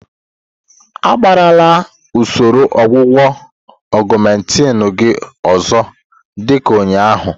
Agbagharala usoro ọgwụgwọ Augmentin gị ọzọ dị ka ụnyaahụ.